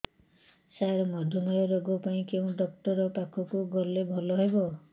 ସାର ମଧୁମେହ ରୋଗ ପାଇଁ କେଉଁ ଡକ୍ଟର ପାଖକୁ ଗଲେ ଭଲ ହେବ